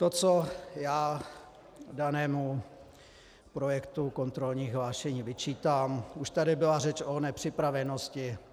To, co já danému projektu kontrolních hlášení vyčítám, už tady byla řeč o nepřipravenosti.